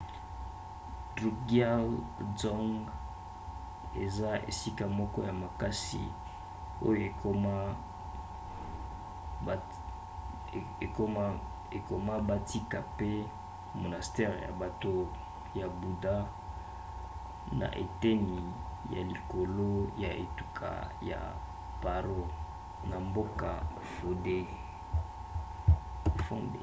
drukgyal dzong eza esika moko ya makasi oyo ekoma batika pe monastere ya bato ya buda na eteni ya likolo ya etuka ya paro na mboka phondey